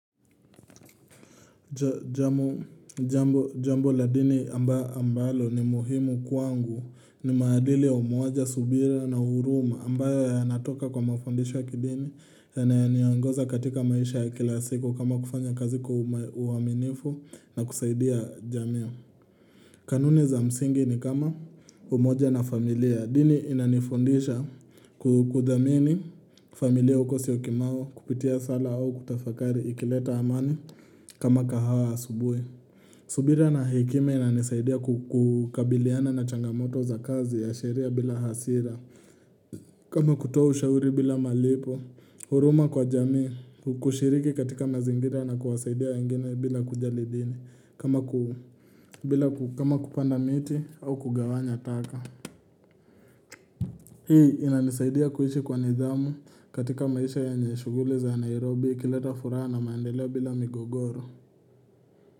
Jambo la dini ambalo ni muhimu kwangu ni maadili ya umoja, subira na huruma ambayo yanatoka kwa mafundisho ya kidini yananiongoza katika maisha ya kila siku kama kufanya kazi kwa uaminifu na kusaidia jamii. Kanuni za msingi ni kama umoja na familia. Dini inanifundisha kuthamini familia uko Syokimau kupitia sala au kutafakari ikileta amani kama kahawa asubuhi. Subira na hekima inanisaidia kukabiliana na changamoto za kazi ya sheria bila hasira kama kutoa ushauri bila malipo huruma kwa jamii. Kushiriki katika mazingira na kuwasaidia wengine bila kujali dini kama kupanda miti au kugawanya taka Hii inanisaidia kuishi kwa nidhamu katika maisha yenye shughuli za Nairobi ikileta furaha na maendeleo bila migogoro.